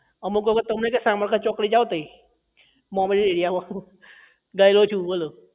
અમુક વખત તો અમને કે સામરખા ચોકડી જાવ તઇ મોમેડન area માં ગયેલો છું બોલો